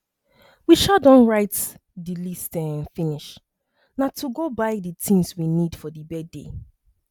we um don write the list um finish na to go buy the things we need for the birthday